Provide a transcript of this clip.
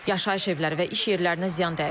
Yaşayış evləri və iş yerlərinə ziyan dəyib.